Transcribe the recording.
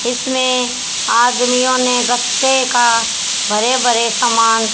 इसमें आदमियों ने गप्पे का भरे भरे समान--